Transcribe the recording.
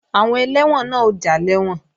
Àwọn ẹlẹ́wọ̀n náà ó já lẹ́wọ̀n